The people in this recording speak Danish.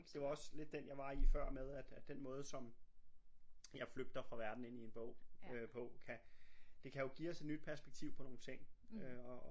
Det var også lidt den jeg var i før med at at den måde som jeg flygter fra verden ind i en bog øh på kan det kan jo give os et nyt perspektiv på nogle ting øh og